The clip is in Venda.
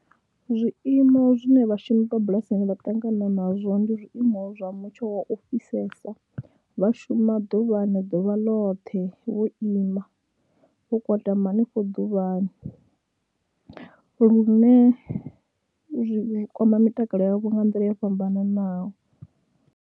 Zwiimo zwi ne vhashumi vha bulasini vha ṱangana nazwo ndi zwiimo zwa mutsho wa u fhisesa, vha shuma ḓuvhani ḓuvha ḽoṱhe, vho ima, vho kwatama hanefho ḓuvhani lune zwi kwama mitakalo yavho nga nḓila yo fhambananaho.